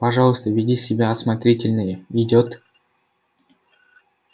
пожалуйста веди себя осмотрительнее идёт